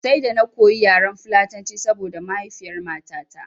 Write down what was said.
Sai da na koyo yaren fulatanci saboda mahaifiyar matata